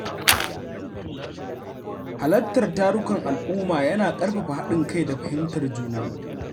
Halartar tarukan al’umma yana ƙarfafa haɗin kai da fahimtar juna.